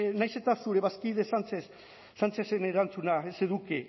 nahiz eta zure bazkide sánchezen erantzuna ez eduki